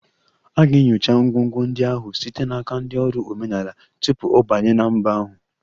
A ga-enyocha ngwongwo ndị ahụ site n'aka ndị ọrụ omenala tupu ọ banye na mba ahụ